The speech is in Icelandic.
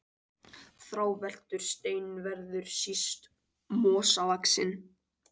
Þráveltur stein verður síst mosavaxinn.